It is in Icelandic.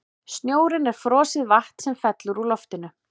Snjórinn er frosið vatn sem fellur úr loftinu.